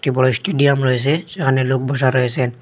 একটি বড় স্টেডিয়াম রয়েসে সেখানে লোক বসা রয়েসেন।